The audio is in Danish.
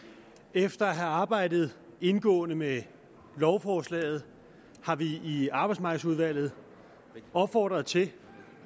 efter at have arbejdet indgående med lovforslaget har vi i arbejdsmarkedsudvalget opfordret til